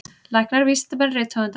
Læknar, vísindamenn, rithöfundar.